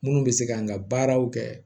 Munnu bɛ se kan ka baaraw kɛ